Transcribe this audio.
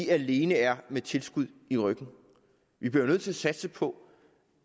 alene er med tilskud i ryggen vi bliver jo nødt til at satse på